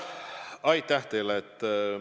Aitäh teile!